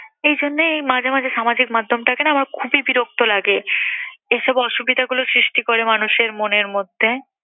এই জন্যেই এই মাঝে মাঝে সামাজিক মাধ্যমটাকে না আমার খুবই বিরক্ত লাগে। এসব অসুবিধাগুলো সৃষ্টি করে মানুষের মনের মধ্যে।